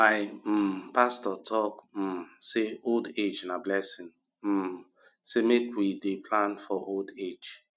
my um pastor talk um sey old age na blessing um sey make we dey plan for old age